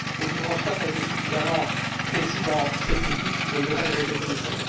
Guy Verhofstadt a été suffisamment précis dans ses critiques, je ne vais pas les répéter ici.